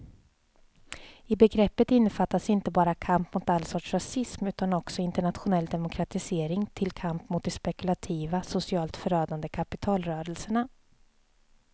I begreppet innefattas inte bara kamp mot all sorts rasism utan också internationell demokratisering till kamp mot de spekulativa, socialt förödande kapitalrörelserna.